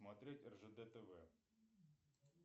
смотреть ржд тв